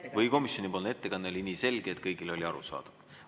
Jah, või komisjoni ettekanne oli nii selge, et kõigile oli kõik arusaadav.